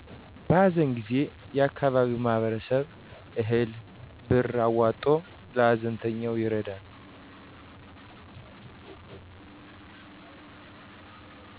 በሀዘን ጊዜ የአካባቢው ማህበረሰብ እህል፤ ብር አዋጥቶ ለሀዘንተኛው ይረዳል።